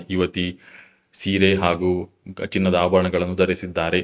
ಒಬ್ಬ ಯುವತಿ ಸೀರೆ ಹಾಗೂ ಕಠಿಣದ ಆಭರಣಗಳನ್ನು ಧರಿಸಿದ್ದಾರೆ.